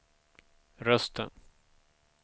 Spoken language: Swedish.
rösten